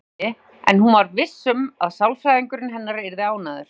Kannski, en hún var viss um að sálfræðingurinn hennar yrði ánægður.